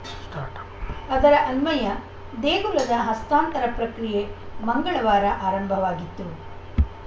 start ಅದರ ಅನ್ವಯ ದೇಗುಲದ ಹಸ್ತಾಂತರ ಪ್ರಕ್ರಿಯೆ ಮಂಗಳವಾರ ಆರಂಭವಾಗಿತ್ತು